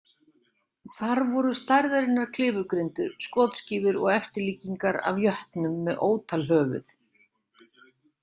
Þar voru stærðarinnar klifurgrindur, skotskífur og eftirlíkingar af jötnum með ótal höfuð.